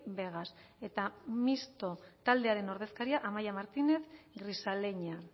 vegas eta mistoa taldearen ordezkaria amaia martínez grisaleña